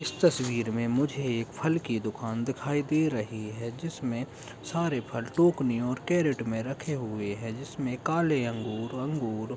इस तस्वीर मे मुझे एक फल की दुकान दिखाई दे रही है। जिसमें सारे फल टोकरी और केरट में रखे हुए है। जिसमे काले अंगूर अंगूर --